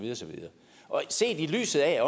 ses i lyset af